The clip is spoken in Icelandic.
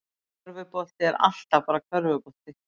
Körfubolti er alltaf bara körfubolti